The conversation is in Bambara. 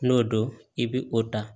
N'o don i bi o da